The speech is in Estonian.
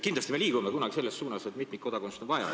Kindlasti me liigume selles suunas, et mitmikkodakondsust on vaja.